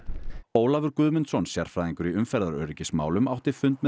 Ólafur Guðmundsson sérfræðingur í umferðaröryggismálum átti fund